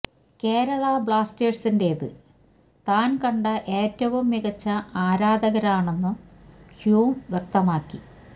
കേരള ബ്ലാസ്റ്റേഴ്സിന്റെത് താന് കണ്ട ഏറ്റവും മികച്ച ആരാധകരാണെന്നും ഹ്യൂം വ്യക്തമാക്കി